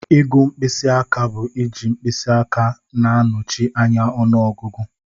Ịgụ mkpịsị aka bu iji mkpịsị aka na-anọchi anya ọnụọgụgụ.